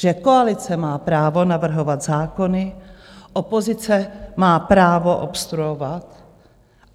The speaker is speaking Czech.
Že koalice má právo navrhovat zákony, opozice má právo obstruovat.